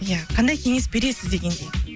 ия қандай кеңес бересіз дегендей